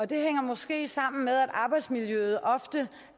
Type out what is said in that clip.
det hænger måske sammen med at arbejdsmiljøet ofte